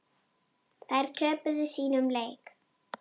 Þær töpuðu sínum leik.